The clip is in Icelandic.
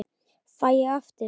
Fæ ég aftur?